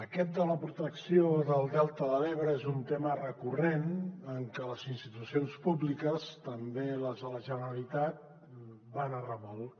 aquest de la protecció del delta de l’ebre és un tema recurrent en què les institucions públiques també les de la generalitat van a remolc